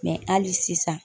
Mɛ hali sisan